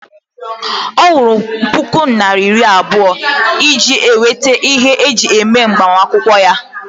Ọ kwụrụ puku naira iri abụọ iji nweta ihe eji eme agbamakwụkwọ ya